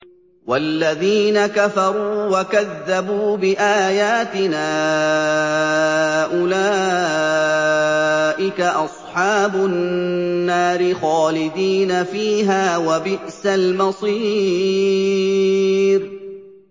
وَالَّذِينَ كَفَرُوا وَكَذَّبُوا بِآيَاتِنَا أُولَٰئِكَ أَصْحَابُ النَّارِ خَالِدِينَ فِيهَا ۖ وَبِئْسَ الْمَصِيرُ